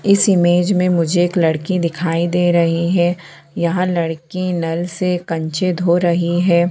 इस इमेज मे मुझे एक लड़की दिखाई दे रही है यहां लड़की नल से कंचे धो रही है।